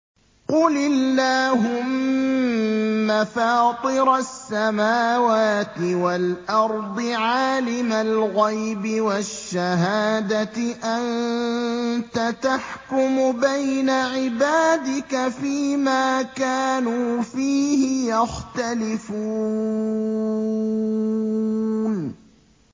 قُلِ اللَّهُمَّ فَاطِرَ السَّمَاوَاتِ وَالْأَرْضِ عَالِمَ الْغَيْبِ وَالشَّهَادَةِ أَنتَ تَحْكُمُ بَيْنَ عِبَادِكَ فِي مَا كَانُوا فِيهِ يَخْتَلِفُونَ